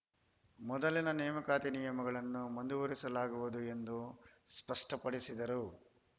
ಮೊದಲಿನ ನೇಮಕಾತಿ ನಿಯಮಗಳನ್ನು ಮುಂದುವರಿಸಲಾಗುವುದು ಎಂದು ಸ್ಪಷ್ಟಪಡಿಸಿದರು